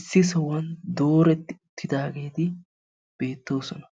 issi sohuwaan dooretti uttidaageti beettoosona.